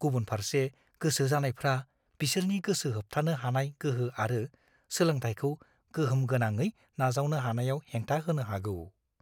गुबुनफारसे गोसो जानायफ्रा बिसोरनि गोसो होथाबनो हानाय गोहो आरो सोलोंथायखौ गोहोमगोनाङै नाजावनो हानायाव हेंथा होनो हागौ।